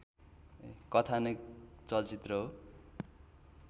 कथानक चलचित्र हो